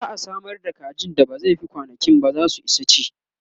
za'a Samar da kaji da ba zai Fi kwanankinba zasu Isa ci